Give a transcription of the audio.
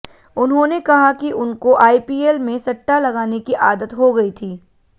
उन्होंने कहा कि उनको आईपीएल में सट्टा लगाने की आदत हो गई थी